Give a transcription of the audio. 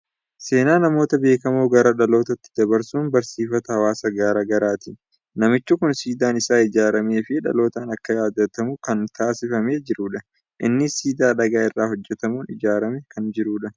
Seenaa namoota beekamoo gara dhalootaatti dabarsuun barsiifata hawaasa garaa garaati. Namichi kun siidaan isaa ijaaramee fi dhalootaan akka yaadatamu kan taasifamee jirudha. Innis siidaa dhagaa irraa hojjetamuun ijaaramee kan jirudha.